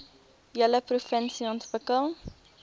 hele provinsie ontwikkel